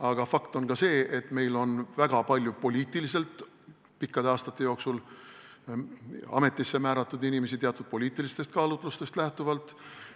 Aga fakt on ka see, et meil on väga pikkade aastate jooksul ametisse määratud inimesi teatud poliitilistest kaalutlustest lähtuvalt.